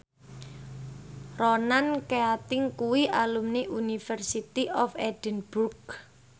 Ronan Keating kuwi alumni University of Edinburgh